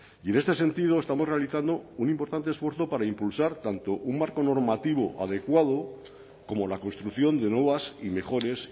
y en este sentido estamos realizando un importante esfuerzo para impulsar tanto un marco normativo adecuado como la construcción de nuevas y mejores